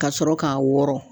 Ka sɔrɔ k'a wɔɔrɔ.